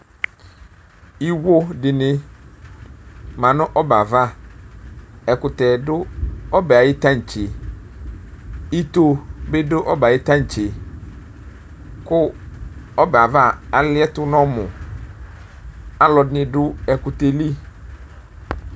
Iwo dini manʋ ɔbɛa'avaƐkutɛ dʋ ɔbɛ ayiʋ taŋtseIto bidu ɔbɛ ayiʋ taŋtseKʋ ɔbɛ'ava aliɛtu nɔmuAlu ɛdini dʋ ɛkutɛɛ li